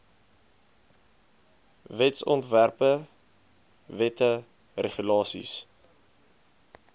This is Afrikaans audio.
wetsontwerpe wette regulasies